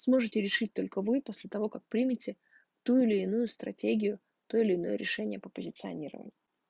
сможете решить только вы после того как примите ту или иную стратегию то или иное решение по позиционированию